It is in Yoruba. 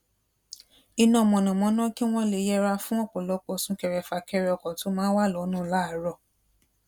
iná mànàmáná kí wón lè yẹra fún òpòlọpò sunkere fakere ọkò tó maa n wa lónà láàárò